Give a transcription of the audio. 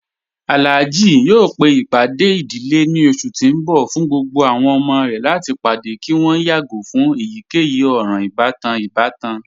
Alhaji yọọ pe ipádẹ̀ idílé ni ọṣù ti n bọ̀ fún gbogbo àwọn ọmọ rẹ̀ láti padẹ̀ kí wọn yàgo fun èyíkeyì òran-ìbatan ìbàtàn.